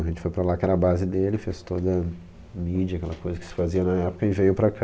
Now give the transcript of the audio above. A gente foi para lá, que era a base dele, fez toda a mídia, aquela coisa que se fazia na época, e veio para cá...